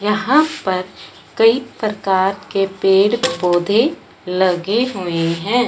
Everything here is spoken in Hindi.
यहां पर कई प्रकार के पेड़ पौधे लगे हुए हैं।